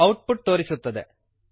out ಪುಟ್ ತೋರಿಸುತ್ತದೆ